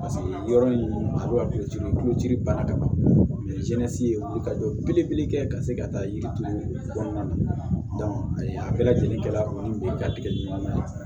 yɔrɔ in a bɛ ka bana ka ban jɛnnasigi ye ka jɔ belebele kɛ ka se ka taa yirituru kɔnɔna na a bɛɛ lajɛlen kɛla kɔni be ka tigɛ ɲɔgɔn na